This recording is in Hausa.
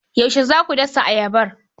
Yaushe za ku dasa ayabar.